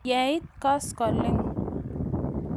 Ye it koskoling'.